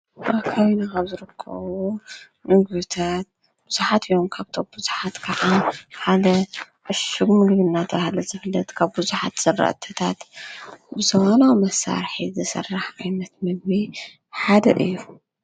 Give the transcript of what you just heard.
ኣካዊኒ ቐብርክዉ ንግታት ብዙኃት ዮን ካብቶኣ ብዙኃት ከዓ ሓለ ኣሹጕሚ ልዩልናታ ሓለ ዘፍለት ካብ ብዙኃት ሠረአተታት ብዘዋናዊ መሳርሒት ዘሠራሕ ኣይነት መግበ ሓድር እዩ።